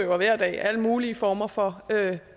hver dag alle mulige former for